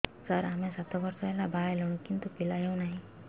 ସାର ଆମେ ସାତ ବର୍ଷ ହେଲା ବାହା ହେଲୁଣି କିନ୍ତୁ ପିଲା ହେଉନାହିଁ